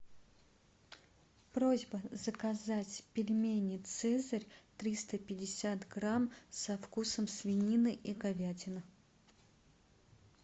просьба заказать пельмени цезарь триста пятьдесят грамм со вкусом свинины и говядины